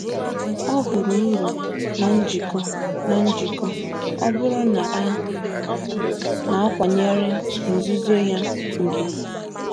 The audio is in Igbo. Ọ hụrụ uru na njikọ, na njikọ, ọ bụrụ na a na-akwanyere nzuzo ya ùgwù.